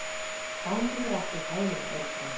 Gangi þér allt í haginn, Örbrún.